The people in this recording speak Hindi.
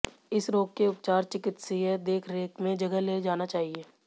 इस रोग के उपचार चिकित्सकीय देखरेख में जगह ले जाना चाहिए